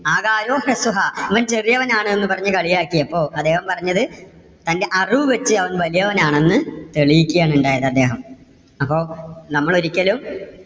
ആകാരോ ഹ്രസ്വഹാ ഞാൻ ചെറിയവനാണ് എന്ന് പറഞ്ഞ് കളിയാക്കിയപ്പോ. അദ്ദേഹം പറഞ്ഞത് തന്റെ അറിവ് വെച്ച് അവൻ വലിയവൻ ആണെന്ന് തെളിയിക്കയാണ് ഉണ്ടായത് അദ്ദേഹം അപ്പോ നമ്മൾ ഒരിക്കലും